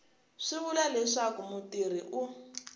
swi vula leswaku mutirhi u